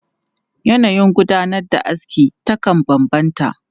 Yanayin gudanar da aski takan bambanta.